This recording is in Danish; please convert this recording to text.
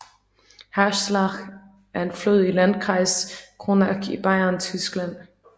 Haßlach er en flod i Landkreis Kronach i Bayern i Tyskland